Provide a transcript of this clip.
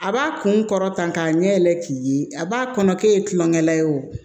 A b'a kun kɔrɔtan ɲɛ yɛlɛ k'i ye a b'a kɔnɔ k'e ye tulon kɛla ye o